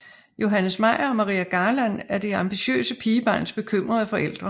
Johannes Meyer og Maria Garland er det ambitiøse pigebarns bekymrede forældre